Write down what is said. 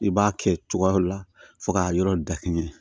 I b'a kɛ cogoyaw la fɔ k'a yɔrɔ dakini